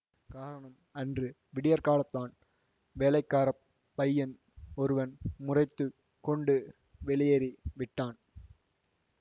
காரணம் அன்று விடியற்காலந்தான் வேலைக்காரப் பையன் ஒருவன் முறைத்து கொண்டு வெளியேறி விட்டான்